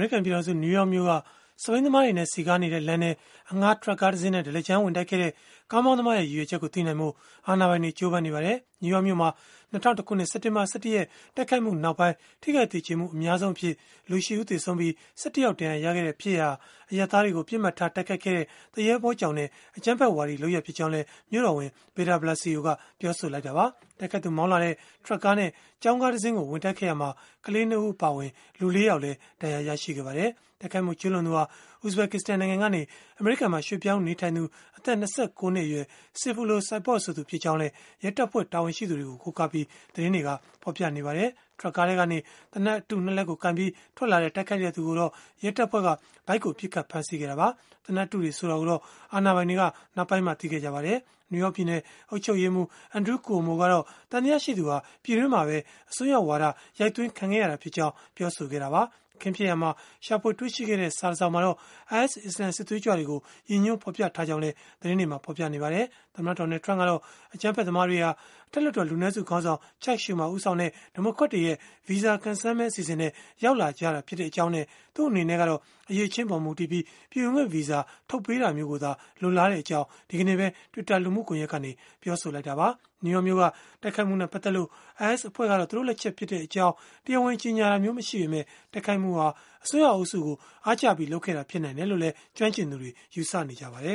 ရိကန် ပြည်ထောင်စု နယူးယောက်မြို့က စက်ဘီးသမားတွေနဲ့ စည်ကားနေတဲ့လမ်းထဲ အငှားထရပ်ကားတစင်းနဲ့ ဒလကြမ်း ဝင်တိုက်ခဲ့တဲ့ ကားမောင်းသမားရဲ့ ရည်ရွယ်ချက်ကို သိနိုင်ဖို့ အာဏာပိုင်တွေ ကြိုးပမ်းနေပါတယ်။ နယူးယောက်မြို့မှာ ၂၀၀၁ ခုနှစ်၊ စက်တင်ဘာ ၁၁ ရက် တိုက်ခိုက်မှုနောက်ပိုင်း ထိခိုက်သေကျေမှု အများဆုံးအဖြစ်၊ လူ ၈ ဦး သေဆုံးပြီး၊ ၁၁ ယောက် ဒဏ်ရာရခဲ့တဲ့ ဖြစ်ရပ်ဟာ အရပ်သားတွေကို ပစ်မှတ်ထားတိုက်ခိုက်ခဲ့တဲ့၊ သူရဲဘောကြောင်တဲ့ အကြမ်းဖက်ဝါဒီလုပ်ရပ်ဖြစ်ကြောင်းလည်း မြို့တော်ဝန် Bill de Blasio က ပြောဆိုခဲ့တာပါ။ တိုက်ခိုက်သူ မောင်းလာတဲ့ ထရပ်ကားနဲ့ ကျောင်းကားတစင်းကို ဝင်တိုက်ခဲ့ရာမှာ ကလေး ၂ ဦး အပါအဝင် လူ ၄ ယောက်လည်း ဒဏ်ရာရခဲ့ပါတယ်။ တိုက်ခိုက်မှု ကျုးလွန်သူဟာ Uzbekistan နိုင်ငံကနေ အမေရိကန်မှာ ရွှေ့ပြောင်းနေထိုင်နေသူ အသက် ၂၉ နှစ်အရွယ် Sayfullo Saipov ဆိုသူ ဖြစ်ကြောင်းလည်း ရဲတပ်ဖွဲ့ တာဝန်ရှိသူတွေကို ကိုးကားပြီး၊ သတင်းတွေက ဖော်ပြနေကြပါတယ်။ ထရပ်ကားထဲကနေ သေနတ်အတု ၂ လက်ကို ကိုင်ပြီး ထွက်လာတဲ့ တိုက်ခိုက်သူကိုတော့ ရဲတပ်ဖွဲ့က ဗိုက်ကို ပစ်ခတ်ဖမ်းဆီးခဲ့တာပါ။ သေနတ်အတုတွေ ဆိုတာကိုတော့ အာဏာပိုင်တွေက နောက်ပိုင်းမှ သိခဲ့ကြပါတယ်။ နယူးယောက် ပြည်နယ် အုပ်ချုပ်ရေးမှူး Andrew Cuomo ကတော့ သံသယရှိသူဟာ ပြည်တွင်းမှာပဲ အစွန်းရောက်ဝါဒ ရိုက်သွင်းခံခဲ့ရတာဖြစ်ကြောင်း ပြောဆိုခဲ့တာပါ။ အခင်းဖြစ်ရာမှာ ရှာဖွေတွေ့ရှိခဲ့တဲ့ စာတစောင်မှာတော့ IS အစ္စလာမ်စစ်သွေးကြွတွေကို ရည်ညွှန်းဖော်ပြထားကြောင်း သတင်းတွက ဖော်ပြကြပါတယ်။ သမ္မတ Donald Trump ကတော့ အကြမ်းဖက်သမားတွေဟာ အထက်လွှတ်တော် လူနည်းစုခေါင်းဆောင် Chuck Schumer ဦးဆောင်တဲ့ ဒီမိုကရက်တွေရဲ့ ဗီဇာကံစမ်းမဲ အစီအစဉ်နဲ့ ရောက်လာကြတာဖြစ်ကြောင်းနဲ့ သူ့အနေနဲ့ကတော့ အရည်အချင်းအပေါ် မူတည်ပြီး ပြည်ဝင်ခွင့်ဗီဇာထုတ်ပေးတာမျိုးကိုသာ လိုလားကြောင်း ဒီကနေ့ပဲ Twitter လူမှုကွန်ယက်ကနေ ပြောဆိုခဲ့တာပါ။ နယူးယောက်မြို့က တိုက်ခိုက်မှုနဲ့ ပတ်သက်လို့ IS အဖွဲ့က သူတို့လက်ချက်ဖြစ်ကြောင်း တရားဝင်ကြေညာတာမျိုး မရှိပေမဲ့၊ တိုက်ခိုက်မှုဟာ အစွန်းရောက်အုပ်စုကို အားကျပြီး လုပ်ခဲ့တာ ဖြစ်နိုင်တယ်လို့လည်း ကျွမ်းကျင်သူတွေ ယူဆနေကြပါတယ